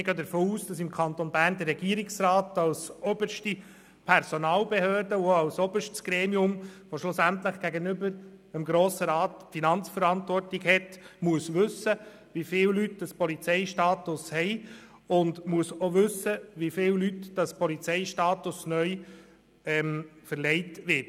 Wir gehen davon aus, dass im Kanton Bern der Regierungsrat als oberste Personalbehörde, welche schliesslich gegenüber dem Grossen Rat die Finanzverantwortung inne hat, wissen muss, wie viele Leute den Polizeistatus haben und wie vielen Leuten der Polizeistatus neu verliehen wird.